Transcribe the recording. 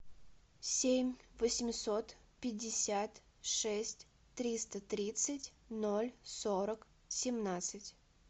семь восемьсот пятьдесят шесть триста тридцать ноль сорок семнадцать